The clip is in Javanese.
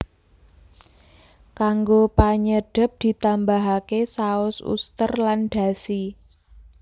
Kanggo panyedhep ditambahake saos uster lan dashi